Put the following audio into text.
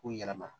K'u yɛlɛma